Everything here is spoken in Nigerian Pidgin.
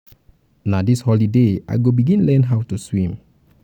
na um dis holiday i go begin um learn how to swim.